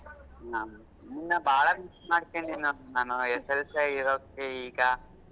ಹಾ ನಿನ್ನ ಬಾಳಾ miss ಮಾಡ್ಕೊಂಡೇನ್ ನಾನು SSLC ಇರೋಕ್ಕೆ ಈಗ.